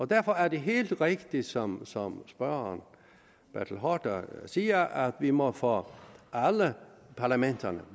derfor er det helt rigtigt som som herre bertel haarder siger at vi må få alle parlamenterne